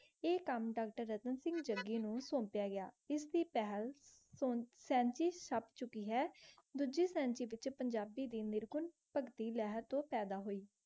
ਆ ਕਾਮ ਤਾ ਨੂ ਤੋੰਤ੍ਯਾ ਗਿਆ ਇਸ ਦੀ ਪਹਲ ਚੁਕੀ ਹੈ ਤੁਜੀ ਡੀ ਪੀਚੀ ਪੰਜਾਬੀ ਦੀ ਮੇਰੀ ਕੋਲ ਪਾਗਤੀ ਲੇਹਾਰ ਤੋ ਪਾਯਦਾ ਹੋਈ